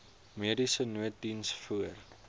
mediese nooddiens voor